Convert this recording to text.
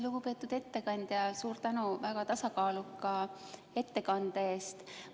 Lugupeetud ettekandja, suur tänu väga tasakaaluka ettekande eest!